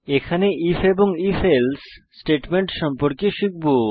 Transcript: এখানে আইএফ এবং if else statement আমরা শিখব